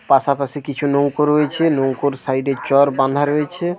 পাশাপাশি কিছু নৌকা রয়েছে ।নৌকোর সাইড এর চর বাঁধা রয়েছে--